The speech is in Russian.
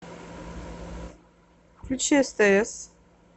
включи стс